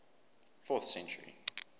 fourth century